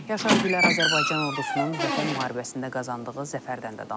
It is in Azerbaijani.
Yaşar Gülər Azərbaycan ordusunun Vətən müharibəsində qazandığı zəfərdən də danışıb.